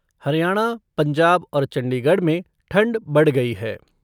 हरियाणा, पंजाब और चंडीगढ़ में ठंड बढ़ गई है।